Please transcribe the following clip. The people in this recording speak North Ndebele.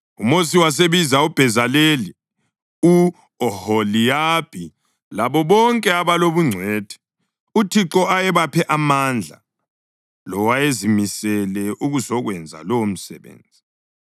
UMosi wasebiza uBhezaleli, u-Oholiyabhi labo bonke abalobungcwethi, uThixo ayebaphe amandla lowayezimisele ukuzokwenza lowomsebenzi.